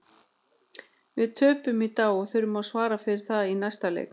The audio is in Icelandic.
Við töpuðum í dag og þurfum að svara fyrir það í næsta leik.